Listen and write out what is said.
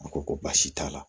A ko ko baasi t'a la